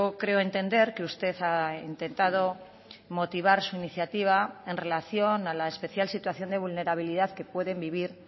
creo entender que usted ha intentado motivar su iniciativa en relación a la especial situación de vulnerabilidad que pueden vivir